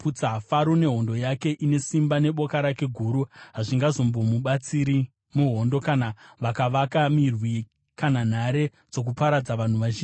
Faro nehondo yake ine simba neboka rake guru hazvingazombomubatsiri muhondo, kana vakavaka mirwi kana nhare dzokuparadza vanhu vazhinji.